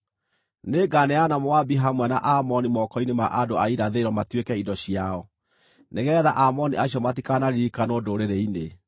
Nĩnganeana Moabi hamwe na Aamoni moko-inĩ ma andũ a Irathĩro matuĩke indo ciao, nĩgeetha Aamoni acio matikanaririkanwo ndũrĩrĩ-inĩ;